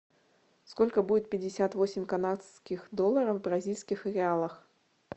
сколько будет пятьдесят восемь канадских долларов в бразильских реалах